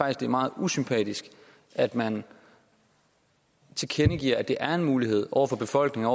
at det er meget usympatisk at man tilkendegiver at det er en mulighed over for befolkningen